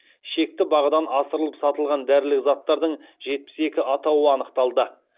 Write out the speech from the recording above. шекті бағадан асырылып сатылған дәрілік заттардың жетпіс екі атауы анықталды